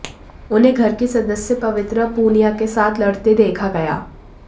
उन्हें घर की सदस्य पवित्रा पुनिया के साथ लड़ते देखा गया